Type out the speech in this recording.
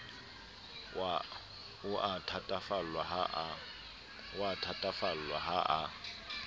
o a thatafallwa ha a